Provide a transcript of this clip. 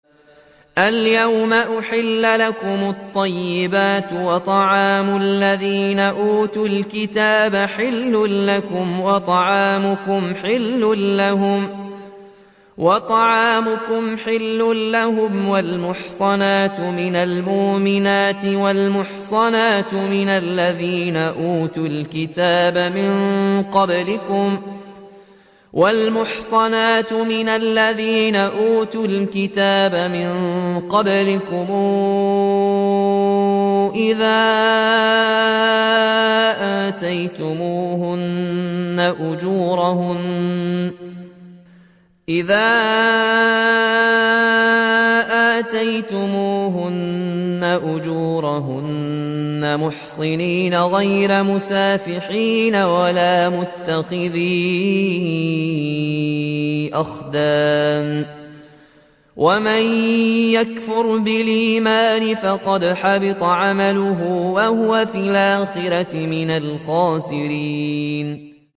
الْيَوْمَ أُحِلَّ لَكُمُ الطَّيِّبَاتُ ۖ وَطَعَامُ الَّذِينَ أُوتُوا الْكِتَابَ حِلٌّ لَّكُمْ وَطَعَامُكُمْ حِلٌّ لَّهُمْ ۖ وَالْمُحْصَنَاتُ مِنَ الْمُؤْمِنَاتِ وَالْمُحْصَنَاتُ مِنَ الَّذِينَ أُوتُوا الْكِتَابَ مِن قَبْلِكُمْ إِذَا آتَيْتُمُوهُنَّ أُجُورَهُنَّ مُحْصِنِينَ غَيْرَ مُسَافِحِينَ وَلَا مُتَّخِذِي أَخْدَانٍ ۗ وَمَن يَكْفُرْ بِالْإِيمَانِ فَقَدْ حَبِطَ عَمَلُهُ وَهُوَ فِي الْآخِرَةِ مِنَ الْخَاسِرِينَ